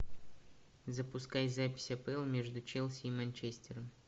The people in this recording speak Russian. запускай запись апл между челси и манчестером